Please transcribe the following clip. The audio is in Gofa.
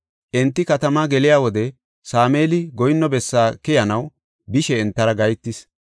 Enti katamaa geliya wode Sameeli goyinno bessaa keyanaw bishe entara gahetis.